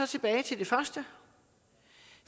tilbage til det første